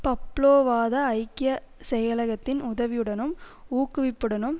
பப்லோவாத ஐக்கிய செயலகத்தின் உதவியுடனும் ஊக்குவிப்புடனும்